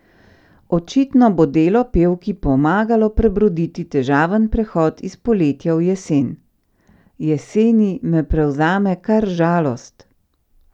Očitno bo delo pevki pomagalo prebroditi težaven prehod iz poletja v jesen: "Jeseni me prevzame kar žalost!